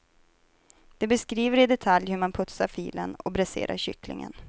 De beskriver i detalj hur man putsar filen och bräserar kycklingen.